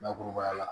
Bakurubaya la